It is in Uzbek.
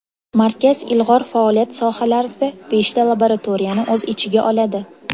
Markaz ilg‘or faoliyat sohalarida beshta laboratoriyani o‘z ichiga oladi.